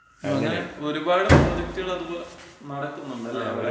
അങ്ങനെ, ഒരുപാട് പ്രോജക്ടുകള് അതുപോലെ നടക്കുന്നുണ്ടല്ലേ?